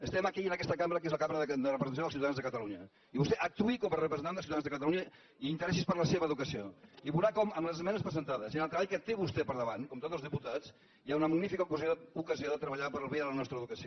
estem aquí en aquesta cambra que és la cambra de representació dels ciutadans de catalunya i vostè actuï com a representant de ciutadans de catalunya i interessi’s per la seva educació i veurà com amb les esmenes presentades i amb el treball que té vostè per davant com tots els diputats hi ha una magnífica ocasió de treballar per al bé de la nostra educació